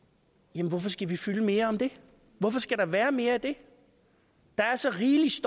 jamen hvorfor skal vi fylde med mere om det hvorfor skal der være mere af det der er så rigeligt